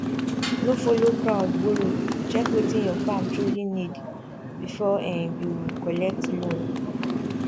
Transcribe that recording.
no follow crowd borrow check wetin your farm truly need before um you collect loan